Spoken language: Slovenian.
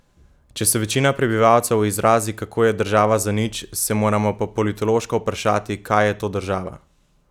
Če se večina prebivalcev izrazi kako je država zanič, se moramo po politološko vprašati kaj je to država?